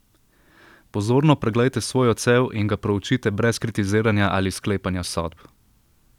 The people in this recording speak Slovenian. Pozorno preglejte svoj odsev in ga proučite brez kritiziranja ali sklepanja sodb.